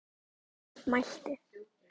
Jón mælti